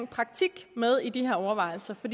praktik med i de her overvejelser for